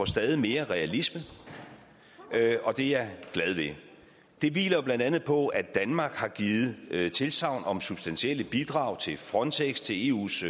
stadig mere realistisk og det er jeg glad ved det hviler jo blandt andet på at danmark har givet tilsagn om substantielle bidrag til frontex til eus